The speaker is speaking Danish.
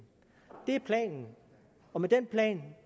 det er planen og med den plan